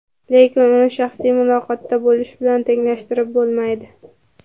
Lekin uni shaxsiy muloqotda bo‘lish bilan tenglashtirib bo‘lmaydi.